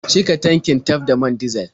Cika tankin taf da man dizal.